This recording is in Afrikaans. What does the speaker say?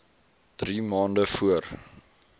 drie maande voor